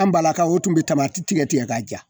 An balakaw tun bɛ tamati tigɛ k'a ja